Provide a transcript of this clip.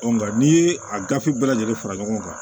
nga n'i ye a gafe bɛɛ lajɛlen fara ɲɔgɔn kan